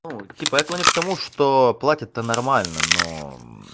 ну типо это они к тому что платят то нормально но